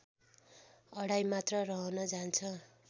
अढाइ मात्रा रहन जान्छ